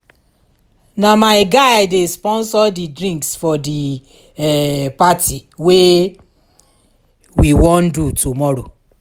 na my guy dey sponsor di drinks for di um party wey um we wan do tomorrow